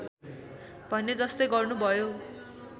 भने जस्तै गर्नुभयो